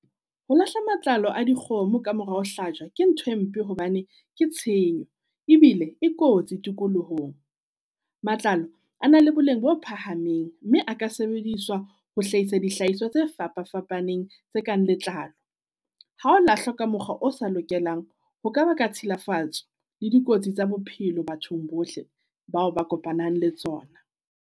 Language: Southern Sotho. Ho lahla matlalo a dikgomo ka morao ho hlajwa ke ntho e mpe hobane ke tshenyo, ebile e kotsi tikolohong. Matlalo a na le boleng bo phahameng mme a ka sebediswa ho hlahisa dihlahiswa tse fapa-fapaneng tse kang letlalo. Ha o lahlwa ka mokgwa o sa lokelang, ho ka ba ka tshilafatso le dikotsi tsa bophelo bathong bohle bao ba kopanang le tsona.